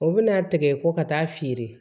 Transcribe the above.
O bɛna a tigɛ ko ka taa feere